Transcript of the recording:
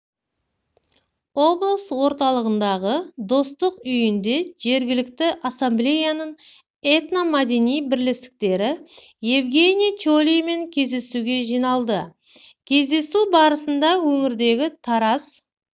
облыс орталығындағы достық үйінде жергілікті ассамблеяның этно-мәдени бірлестіктері евгениий чолиймен кездесуге жиналды кездесу барысында өңірдегі тарас